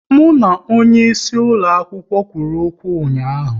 Mụ na onye isi ulo akwụkwọ kwụrụ okwu ụnyaahụ